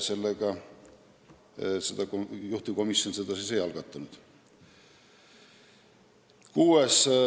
Seega juhtivkomisjon seda ei algatanud.